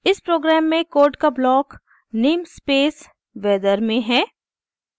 इस प्रोग्राम में कोड का ब्लॉक namespace weather में है